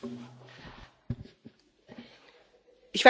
Ich weiß zwar nicht, wie Sie zu diesem Vergleich kommen, aber okay.